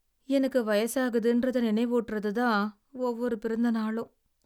எனக்கு வயசாகுதுன்றதை நினைவூட்டுறதுதான் ஒவ்வொரு பிறந்தநாளும்.